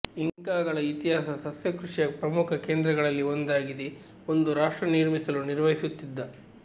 ಇಂಕಾಗಳ ಇತಿಹಾಸ ಸಸ್ಯ ಕೃಷಿಯ ಪ್ರಮುಖ ಕೇಂದ್ರಗಳಲ್ಲಿ ಒಂದಾಗಿದೆ ಒಂದು ರಾಷ್ಟ್ರ ನಿರ್ಮಿಸಲು ನಿರ್ವಹಿಸುತ್ತಿದ್ದ